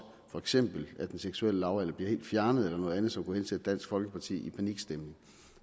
for eksempel at den seksuelle lavalder bliver helt fjernet eller noget andet som kunne hensætte dansk folkeparti i panikstemning